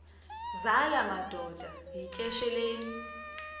zala madoda yityesheleni